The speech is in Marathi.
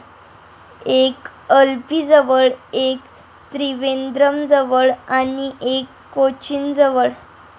एक अल्लपीजवळ, एक त्रिवेंद्रमजवळ आणि एक कोचिनजवळ.